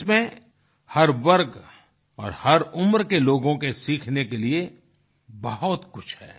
इसमें हर वर्ग और हर उम्र के लोगों के सीखने के लिए बहुत कुछ है